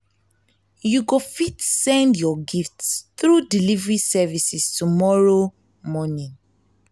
you go fit send your gifts through delivery services tomorrow morning